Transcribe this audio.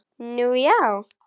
Nú, já?